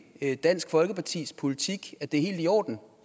dansk folkepartis politik at det er helt i orden